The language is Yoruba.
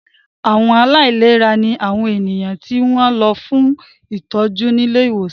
Àwọn aláìlera ní àwọn ènìyàn tí wọ́n lọ fún ìtọ́jú ní ilé ìwòsàn